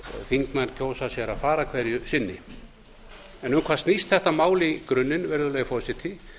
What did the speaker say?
þingmenn kjósa sér að fara hverju sinni um hvað snýst þetta mál í grunninn virðulegi forseti